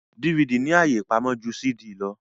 DVD ní àyè ipàmò jù CD ló.